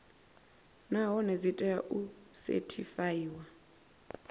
nahone dzi tea u sethifaiwa